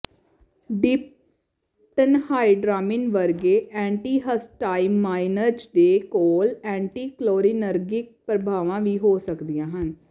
diphenhydramine ਵਰਗੇ antihistamines ਦੇ ਕੋਲ ਐਂਟੀਕੋਲਿਨਰਗਿਕ ਪ੍ਰਭਾਵਾਂ ਵੀ ਹੋ ਸਕਦੀਆਂ ਹਨ